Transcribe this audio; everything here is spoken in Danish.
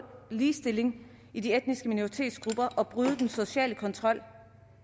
ligestilling i de etniske minoritetsgrupper og bryde den sociale kontrol